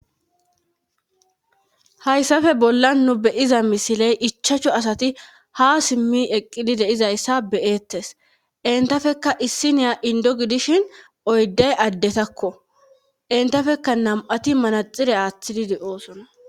Hayssappe bollan nu be'iza ichchashu misile ha simmi eqqidi dizayta be'eetes. Enttappekka issiniya indo gidishin oyday addetakko. entappekka nam'ati manaxire aatidi de'osona.